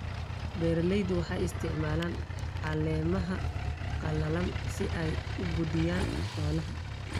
Beeraleydu waxay isticmaalaan caleemaha qallalan si ay u quudiyaan xoolaha.